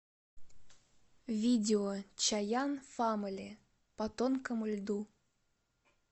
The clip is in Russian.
видео чаян фамали по тонкому льду